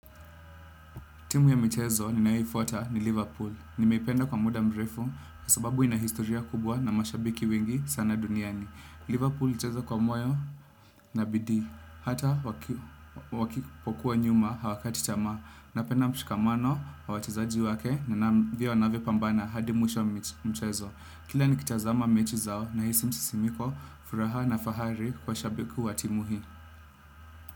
Timu ya michezo ninayoifuata ni Liverpool. Nimeipenda kwa muda mrefu, kwa sababu ina historia kubwa na mashabiki wengi sana duniani. Liverpool nchezo kwa mwayo na bidhi. Hata wakipokuwa nyuma hawakati tamaa. Napenda mshikamano, wa wachezaji wake, na wanavyopambana hadi mwisho wa mchezo. Liverpool hucheza kwa moyo na bidii. Hata.